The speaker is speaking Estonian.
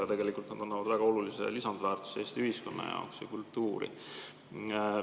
Aga tegelikult nad annavad väga olulise lisandväärtuse Eesti ühiskonna jaoks ja kultuuri.